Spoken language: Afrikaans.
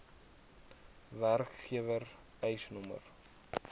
werkgewer eis nr